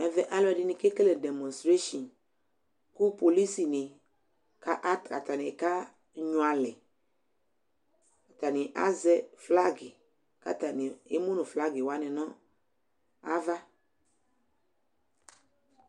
Ɛvɛ alʋɛdɩnɩ kekele demɔstresin kʋ polisinɩ kaka atanɩ kanyʋɛ alɛ Atanɩ azɛ flagɩ kʋ atanɩ emu nʋ flagɩ wanɩ nʋ ava